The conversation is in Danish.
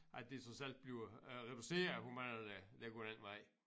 At det trods alt bliver øh reduceret hvor mange der der går den vej